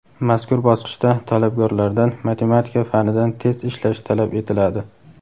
Mazkur bosqichda talabgorlardan matematika fanidan test ishlash talab etiladi.